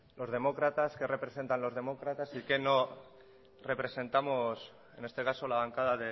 los demócratas qué representan los demócratas y qué no representamos en este caso la bancada